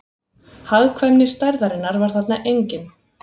Hagkvæmni stærðarinnar var þarna engin